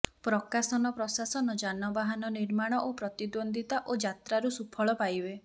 ପ୍ରକାଶନ ପ୍ରଶାସନ ଯାନବାହନ ନିର୍ମାଣ ଓ ପ୍ରତିଦ୍ୱନ୍ଦ୍ୱିତା ଓ ଯାତ୍ରାରୁ ସୁଫଳ ପାଇବେ